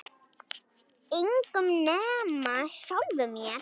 Engum nema sjálfum sér.